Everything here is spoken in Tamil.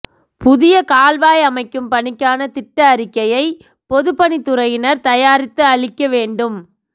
புதிய கால்வாய் அமைக்கும் பணிக்கான திட்ட அறிக்கையை பொதுப் பணித் துறையினா் தயாரித்து அளிக்க வேண்டும்